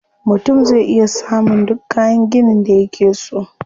Mutum zai iya samun duk kayan ginin da yake so.